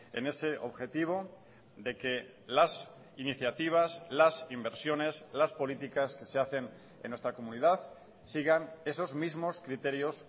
en ese objetivo de que las iniciativas las inversiones las políticas que se hacen en nuestra comunidad sigan esos mismos criterios